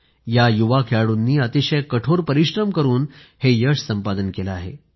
या युवा खेळाडूंनी अतिशय कठोर परिश्रम करून हे यश संपादन केलं आहे